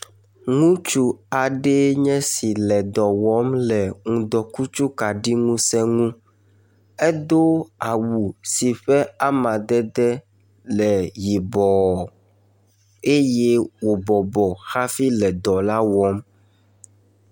Ŋutsu aɖe nye si le dɔ wɔm le ŋdɔkutsukaɖiŋusẽ ŋu. Edo awu si ƒe amadede le yibɔɔ eye wòbɔbɔ hafi le edɔ la wɔm